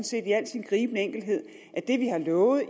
set i al sin gribende enkelhed at det vi har lovet i